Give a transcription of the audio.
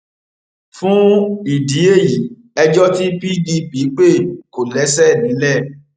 fún ìdí èyí ẹjọ tí pdp pé kò lẹsẹ nílẹ